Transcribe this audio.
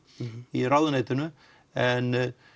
í ráðuneytinu en